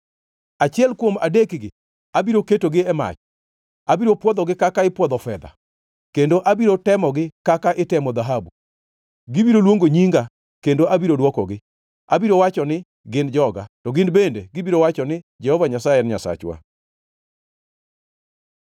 Achiel kuom adekgi abiro ketogi e mach; abiro pwodhogi kaka ipwodho fedha, kendo abiro temogi kaka itemo dhahabu. Gibiro luongo nyinga kendo abiro dwokogi; abiro wacho ni, ‘Gin joga,’ to gin bende gibiro wacho ni, ‘Jehova Nyasaye en Nyasachwa.’ ”